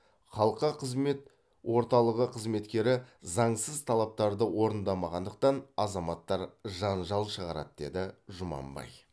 халыққа қызмет орталығы қызметкері заңсыз талаптарды орындамағандықтан азаматтар жанжал шығарады деді жұманбай